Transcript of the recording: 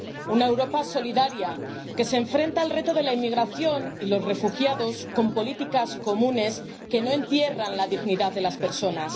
una Europa solidaria, que se enfrenta al reto de la inmigración y los refugiados, con políticas comunes que no entierran la dignidad de las personas